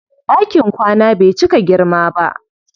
Ɗakin kwana bai cika girma ba.